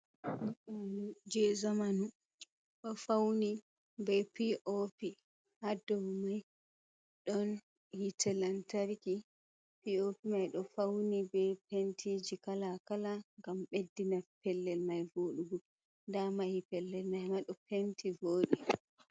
Suudu je zamanu d'o fauni be pi'opi; ha dow mai don hite lantarki. Pi'opi mai d'o fauni be pentiji kala kala ngam beddina pellel mai vodugo. 'Da mahi pellel mai ma d'o penti vodi.